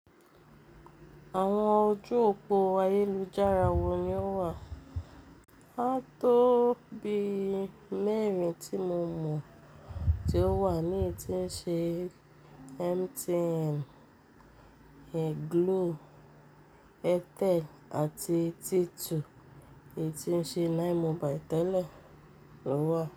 Àwọn ojú òpó ayélujára wo ni ó wà? A tó bí mẹ́rin tí mo mọ̀ tí ó wà ní etí ń ṣe MTN, Glo, Airtel àti T2 etí ń ṣe 9mobile tẹ́lẹ̀ ló wà.